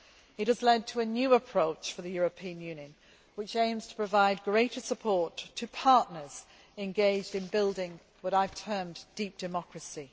It has led to a new approach for the European Union, which aims to provide greater support to partners engaged in building what I have termed deep democracy'.